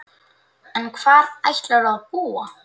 En hvar ætlarðu að búa?